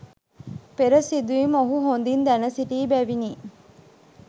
පෙර සිදුවීම් ඔහු හොඳින් දැනසිටි බැවිනි.